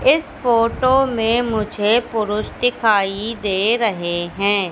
इस फोटो में मुझे पुरुष दिखाई दे रहे है।